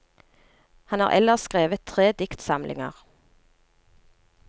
Han har ellers skrevet tre diktsamlinger.